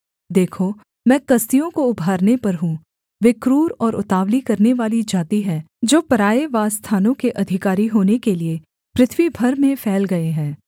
देखो मैं कसदियों को उभारने पर हूँ वे क्रूर और उतावली करनेवाली जाति हैं जो पराए वासस्थानों के अधिकारी होने के लिये पृथ्वी भर में फैल गए हैं